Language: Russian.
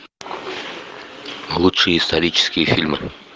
лучшие исторические фильмы